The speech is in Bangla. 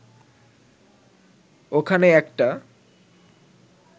ওখানে একটা